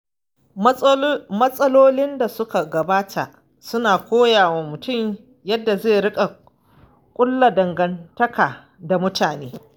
Matsalolin da suka gabata suna koya wa mutum yadda zai riƙa ƙulla dangantaka da mutane.